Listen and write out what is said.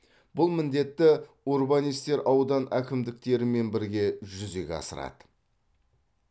бұл міндетті урбанистер аудан әкімдіктерімен бірге жүзеге асырады